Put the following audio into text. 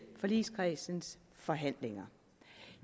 forligskredsens forhandlinger